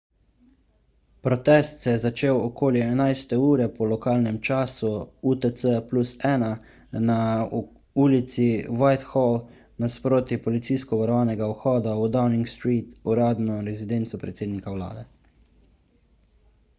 protest se je začel okoli 11.00 po lokalnem času utc+1 na ulici whitehall nasproti policijsko varovanega vhoda v downing street uradno rezidenco predsednika vlade